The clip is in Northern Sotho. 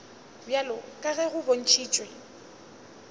bjalo ka ge go bontšhitšwe